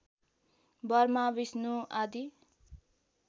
Burma Vishnu आदि